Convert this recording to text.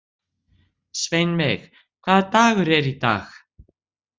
Sveinveig, hvaða dagur er í dag?